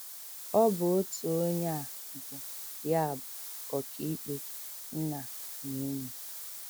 Ọ bụ otu onye a bụ ya bụ ọkàikpe, nna, na enyi.